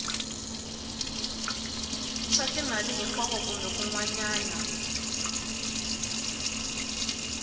swa timali hinkwako kumbe kun